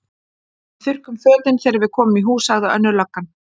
Við þurrkum fötin þegar við komum í hús, sagði önnur löggan.